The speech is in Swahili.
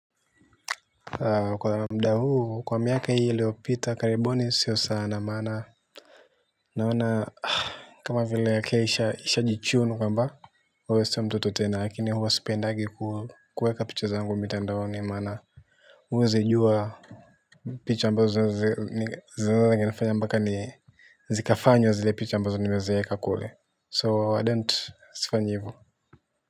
Kwa mda huu, kwa miaka hii ilio pita karibuni sio sana maana, naona kama vile ake isha jichunu kwamba uwe sew mtoto tena lakini huwa sipendagi kuweka picha zangu mitandaoni maana uwezijua. Picha ambazo i nifanya mbaka ni zikafanywa zile picha ambazo nimezieka kule. So I don't sifanyi hiv.